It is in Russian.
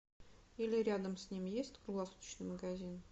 или рядом с ним есть круглосуточный магазин